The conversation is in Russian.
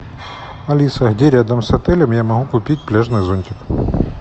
алиса где рядом с отелем я могу купить пляжный зонтик